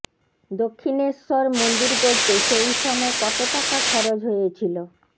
দক্ষিণেশ্বর মন্দির গড়তে সেই সময় কত টাকা খরচ হয়েছিল